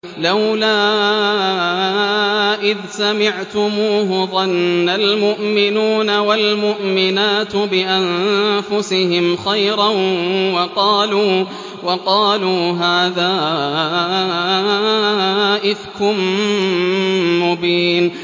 لَّوْلَا إِذْ سَمِعْتُمُوهُ ظَنَّ الْمُؤْمِنُونَ وَالْمُؤْمِنَاتُ بِأَنفُسِهِمْ خَيْرًا وَقَالُوا هَٰذَا إِفْكٌ مُّبِينٌ